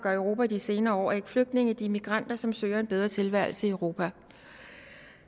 og europa i de senere år er ikke flygtninge de er migranter som søger en bedre tilværelse i europa